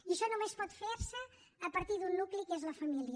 i això només pot fer se a partir d’un nucli que és la família